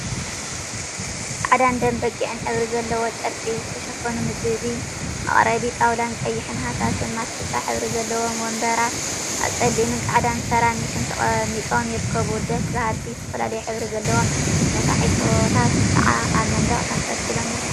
ጻዕዳን ደም በጊዕን ሕብሪ ዘለዎም ጨርቂ ዝተሸፈኑ ምግቢ መቀረቢ ጣውላን ቀይሕን ሃሳስ ማስቲካ ሕብሪ ዘለዎም ወንበራት ኣብ ጸሊምን ጻዕዳን ሰራሚክ ተቀሚጦም ይርከቡ። ደስ በሃልቲ ዝተፈላለዩ ሕብሪ ዘለዎም ነፋሒቶታት ከዓ ኣብ መንደቅ ተንጠልጢሎም ይርከቡ።